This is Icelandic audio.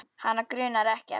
Hana grunar ekkert.